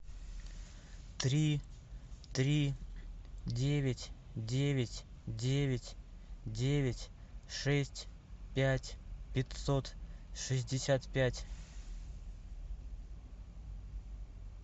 три три девять девять девять девять шесть пять пятьсот шестьдесят пять